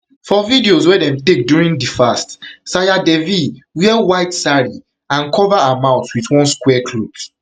for videos wey dem take during di fast sayar devi wear white sari and cover her mouth wit one square cloth